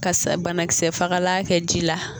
Ka sa banakisɛ fagala kɛ ji la.